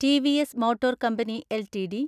TVS motor company LTD